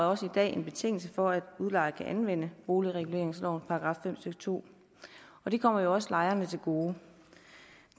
også i dag en betingelse for at udlejer kan anvende boligreguleringslovens § fem stykke to og det kommer jo også lejerne til gode